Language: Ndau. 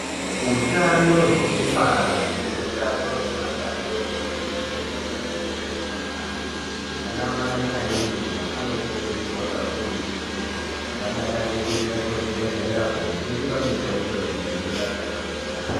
Utano hwekubara nehutano hweana adodori unofanira kukosheswa yambo anamai anemimba anokurudzirwa kakurutu kuti avadakarire kuenda kuzvibhedhlera kundo jungwa mutombo wekudzivirira matenda.